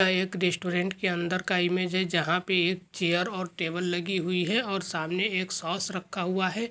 यह एक रेस्टोरेंट के अंदर का इमेज है जहा पे एक चैयर और टेबल लगी हुई है और सामने एक सॉस रखा हुआ है।